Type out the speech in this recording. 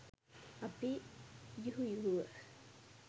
අපි යුහුයුහුව